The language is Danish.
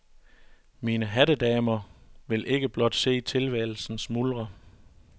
Mine hattedamer vil ikke blot se tilværelsen smuldre.